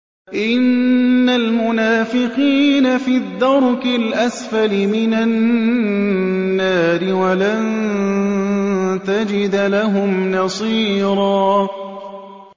إِنَّ الْمُنَافِقِينَ فِي الدَّرْكِ الْأَسْفَلِ مِنَ النَّارِ وَلَن تَجِدَ لَهُمْ نَصِيرًا